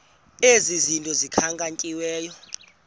ezi zinto zikhankanyiweyo